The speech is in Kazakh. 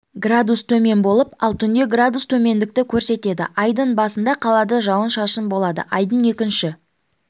градус төмен болып ал түнде градус төмендікті көрсетеді айдың басында қалада жауын-шашын болады айдың екінші